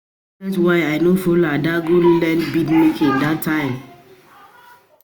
I dey regret why I no follow Ada go learn bead making dat time